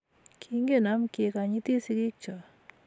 Kingen am kekanyitii sikik choo